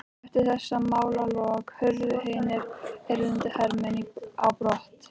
Eftir þessi málalok hurfu hinir erlendu hermenn á brott.